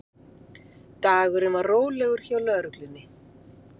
Dagurinn var rólegur hjá lögreglunni